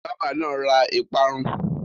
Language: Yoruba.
Bábà náà ra ìparun.